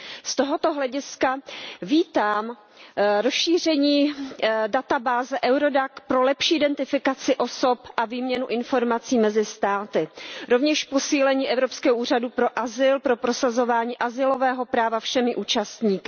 Z tohoto hlediska vítám rozšíření databáze Eurodac pro lepší identifikaci osob a výměnu informací mezi státy, rovněž posílení Evropského úřadu pro azyl pro prosazování azylového práva všemi účastníky.